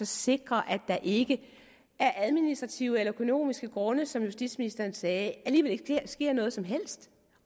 sikre at der ikke af administrative eller økonomiske grunde som justitsministeren sagde alligevel ikke sker noget som helst